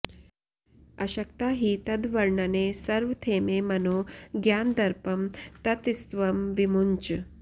अशक्ता हि तद्वर्णने सर्वथेमे मनो ज्ञानदर्पं ततस्त्वं विमुञ्च